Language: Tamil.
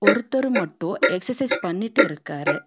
ஒருத்தர் மட்டும் எக்சர்சைஸ் பண்ணிட்டு இருக்காரு.